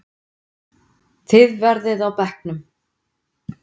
Þið verðið á bekknum!